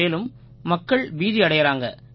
மேலும் மக்கள் பீதியடையறாங்க